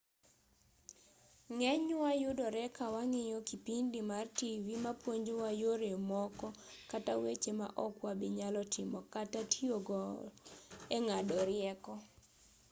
ng'enywa yudore kawang'iyo kipindi mar tivi ma puonjowa yore moko kata weche ma ok wabinyalo timo kata tiyogo eng'ado rieko